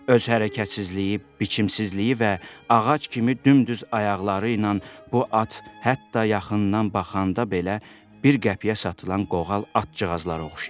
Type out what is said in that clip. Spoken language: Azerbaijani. Öz hərəkətsizliyi, biçimsizliyi və ağac kimi dümdüz ayaqları ilə bu at hətta yaxından baxanda belə bir qəpiyə satılan qoğal atçığazlara oxşayır.